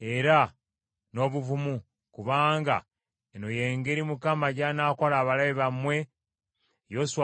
era n’obuvumu kubanga eno y’engeri Mukama gy’anaakola abalabe bammwe be mulwana nabo.”